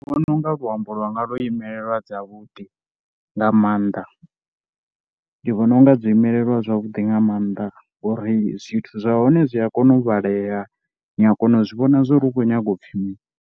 Ndi vhona u nga luambo lwanga lwo imelelwa dzavhuḓi nga maanḓa ndi vhona u nga dzo imelelwa zwavhuḓi nga maanḓa ngori zwithu zwa hone zwi a kona u vhalea, ni a kona u zwi vhona zwo ri hu khou nyaga u pfhi mini.